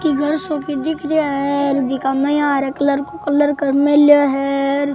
की घर सो की दिख रा है जीका में इया हरा कलर को कलर कर मेला है र।